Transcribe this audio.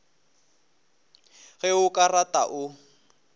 ge o ka rata o